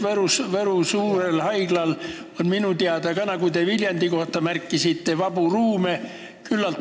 Võru suurel haiglal on minu teada samamoodi, nagu te Viljandi kohta märkisite, küllalt vabu ruume.